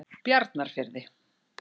Bjarnarfirði